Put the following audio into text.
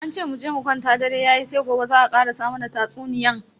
An ce muje mu kwanta dare yayi sai gobe za a karasa mana tatsuniyan.